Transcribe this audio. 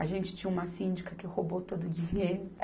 A gente tinha uma síndica que roubou todo o dinheiro.